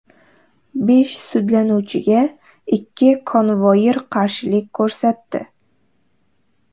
Besh sudlanuvchiga ikki konvoir qarshilik ko‘rsatdi.